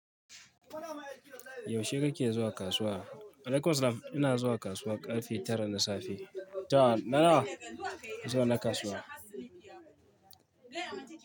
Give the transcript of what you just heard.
Yaushe kake zuwa kasuwa? Wa alaikum salam. Ina zuwa kasuwa ƙarfe tara na safe. Tana zuwa na kasuwa.